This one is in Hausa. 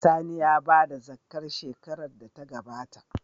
Sani ya bada zakkah shekarar da ta gabata